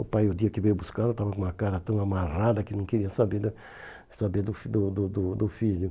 O pai, o dia que veio buscar, estava com uma cara tão amarrada que não queria saber da saber do fi do do do do filho.